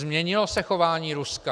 Změnilo se chování Ruska?